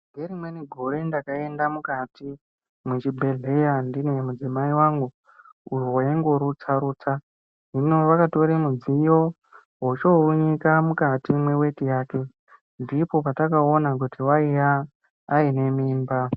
Ngerimweni gore ndakaenda mukati mwechibhedhleya ndine mudzimai wangu uyo waingorutsa rutsa. Hino vakatora mudziyo veichounyika mukati mweweti yake, ndipo patakaona kuti aiya aine mimba.